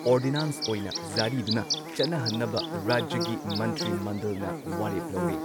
Ordinance ꯑꯣꯏꯅ ꯖꯥꯔꯤꯗꯨꯅ ꯆꯠꯅꯍꯟꯅꯕ ꯔꯥꯖ꯭ꯌꯒꯤ ꯃꯟꯇ꯭ꯔꯤꯃꯟꯗꯜꯅ ꯋꯥꯔꯦꯞ ꯂꯧꯔꯦ ꯫